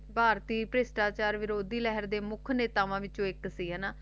ਭਾਰਤੀ ਵਿਰੋਧੀ ਪਿਛਟਾਚਾਰ ਲਹਿਰਾਂ ਦੀ ਮੁਖ ਨੇਤਾਵਾਂ ਚੋ ਇਕ ਸੀ ਨਾ